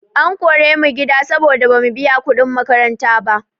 An kore mu gida saboda bamu biya kuɗin makaranta ba.